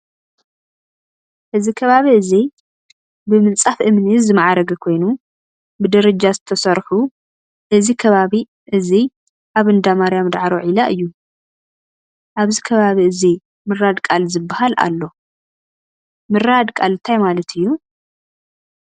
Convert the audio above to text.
ኣዚ ከባቢ እዚ ብምፃፍ እምኒ ዝማዕረገ ኮይነ ብደረጃ ዝተሰርሑ እዚ ከባቢ እዚ ኣበ እንዳማርያ ዳዕሮ ዒላ እዩ:: ኣብዚ ከባቢ እዚ ምራድ ቃል ዝበሃል ኣሎ:: ምራድ ቃል እንታይ ማለት እዩ ?